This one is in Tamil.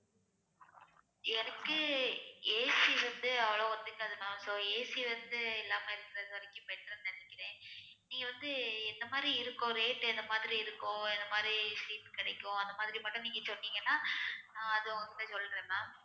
எனக்கு AC வந்து அவ்ளோ ஒத்துக்காது ma'am soAC வந்து இல்லாம இருக்கறதுவரைக்கும் better ன்னு நினைக்கிறேன் நீங்க வந்து என்ன மாதிரி இருக்கும் rate என்ன மாதிரி இருக்கும் எந்த மாதிரி seat கிடைக்கும் அந்த மாதிரி மட்டும் நீங்க சொன்னீங்கன்னா அஹ் அது உங்க கிட்ட சொல்றேன் ma'am